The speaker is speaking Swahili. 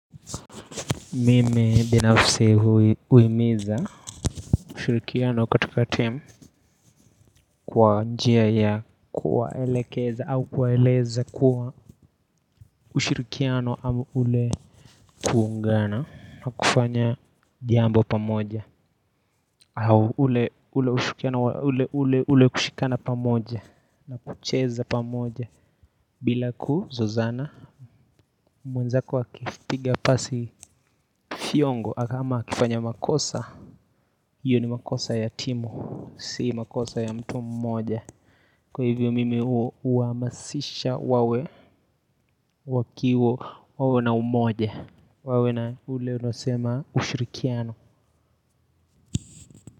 Mimi binafsi huhimiza ushirikiano katika team kwa njia ya kuwaelekeza au kuwaeleza kuwa ushirikiano ama ule kuungana na kufanya jambo pamoja au ule ushirikiano ule wa kushikana pamoja na kucheza pamoja bila kuzozana mwenzako akipiga pasi fiongo ama akifanya makosa hio ni makosa ya timu, sio makosa ya mtu mmoja Kwa hivyo mimi huhamasisha wawe, wakiwa na umoja wawe na ule unaosema ushirikiano.